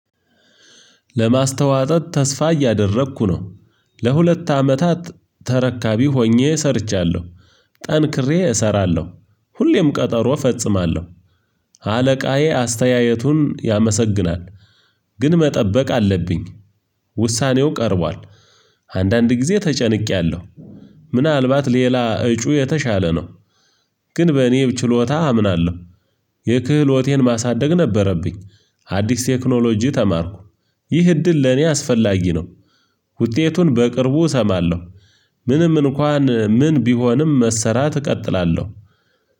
ለማስተዋጠት ተስፋ እያደረኩ ነው። ለሁለት አመታት ተረካቢ ሆኜ ሰርቻለሁ። ጠንክሬ እሰራለሁ ሁሌም ቀጠሮ ፈጽማለሁ። አለቃዬ አስተያየቱን ያመሰግናል። ግን መጠበቅ አለብኝ። ውሳኔው ቀርቧል። አንዳንድ ጊዜ ተጨንቄያለሁ። ምናልባት ሌላ እጩ የተሻለ ነው። ግን በኔ ችሎታ አምናለሁ። የክህሎቴን ማሳደግ ነበረብኝ። አዲስ ቴክኖሎጂ ተማርኩ። ይህ እድል ለኔ አስፈላጊ ነው። ውጤቱን በቅርቡ እሰማለሁ። ምንም እንኳን ምን ቢሆንም መሰራት እቀጥላለሁ።